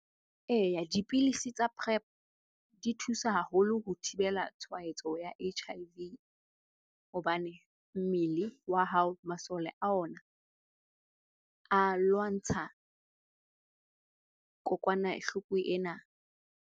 Eya dipilisi tsa Prep di thusa haholo ho thibela tshwaetso ya H_I_V hobane mmele wa hao, masole a ona a lwantsha kokwanahloko ena.